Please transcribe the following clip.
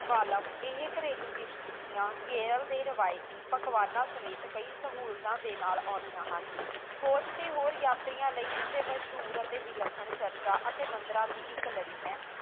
ਵਾਲਾ ਇਹ ਘਰੇਲੂ ਕਿਸ਼ਤੀਆਂ ਕੇਰਲ ਦੇ ਰਵਾਇਤੀ ਪਕਵਾਨ ਸਮੇਤ ਕਈ ਸਹੂਲਤਾਂ ਦੇ ਨਾਲ ਆਉਂਦੀਆਂ ਹਨ ਖੋਜ ਅਤੇ ਹੋਰ ਯਾਤਰੀਆਂ ਲਈ ਇੱਥੇ ਮਸ਼ਹੂਰ ਅਤੇ ਵਿੱਲਖਣ ਚਰਚਾਂ ਅਤੇ ਮੰਦਰਾਂ ਦੀ ਇੱਕ ਲੜੀ ਹੈ